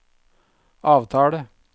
avtale